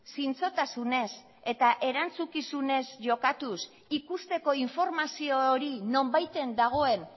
zintzotasunez eta erantzukizunez jokatuz ikusteko informazio hori nonbaiten dagoen